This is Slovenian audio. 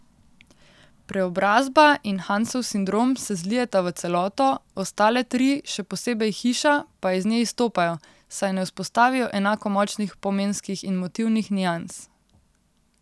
Preobrazba in Hansov sindrom se zlijeta v celoto, ostale tri, še posebej Hiša, pa iz nje izstopajo, saj ne vzpostavijo enako močnih pomenskih in motivnih nians.